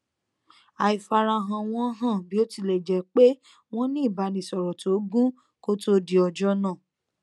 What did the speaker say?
àìfarahàn wọn hàn bí ó tilẹ jẹ pé wọn ní ìbánisọrọ tó gún kó to di ọjọ náà